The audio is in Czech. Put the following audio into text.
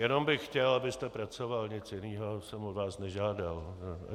Jenom bych chtěl, abyste pracoval, nic jiného jsem od vás nežádal.